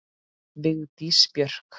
Vigdís Björk.